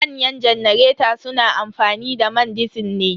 Manyan janareta su na amfani da man disil ne.